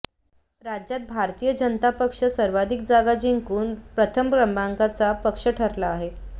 राज्यात भारतीय जनता पक्ष सर्वाधिक जागा जिंकून प्रथम क्रमांकाचा पक्ष ठरला आहे